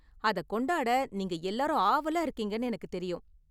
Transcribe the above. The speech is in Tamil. அதை கொண்டாட நீங்கள் எல்லோரும் ஆவலா இருக்கீங்கனு எனக்கு தெரியும்.